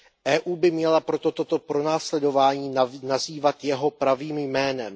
EU by měla proto toto pronásledování nazývat jeho pravým jménem.